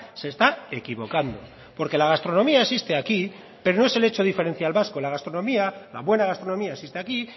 se está equivocando porque la gastronomía existe aquí pero no es el hecho diferencial vasco la gastronomía la buena gastronomía existe aquí